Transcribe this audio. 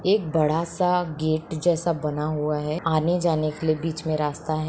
एक बड़ा सा गेट जैसा बना हुआ है आने जाने के लिए बीच मे रास्ता हैं।